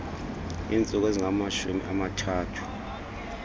iintsuku ezingamashumi amathathu